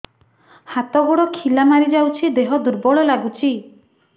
ହାତ ଗୋଡ ଖିଲା ମାରିଯାଉଛି ଦେହ ଦୁର୍ବଳ ଲାଗୁଚି